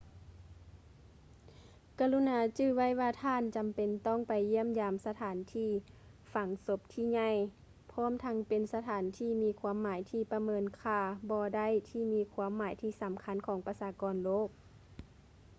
ກະລຸນາຈື່ໄວ້ວ່າທ່ານຈຳເປັນຕ້ອງໄປຢ້ຽມຢາມສະຖານທີ່ຝັງສົບທີ່ໃຫຍ່ ພ້ອມທັງເປັນສະຖານທີ່ມີຄວາມໝາຍທີ່ປະເມີນຄ່າບໍ່ໄດ້ທີ່ມີຄວາມໝາຍທີ່ສຳຄັນຂອງປະຊາກອນໂລກ